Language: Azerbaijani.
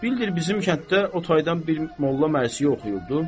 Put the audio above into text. Bildir bizim kənddə o taydan bir molla mərsi oxuyurdu.